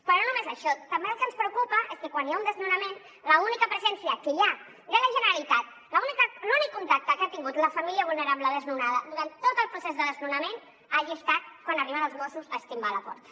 però no només això també el que ens preocupa és que quan hi ha un desnonament l’única presència que hi ha de la generalitat l’únic contacte que ha tingut la família vulnerable desnonada durant tot el procés de desnonament hagi estat quan arriben els mossos a estimbar la porta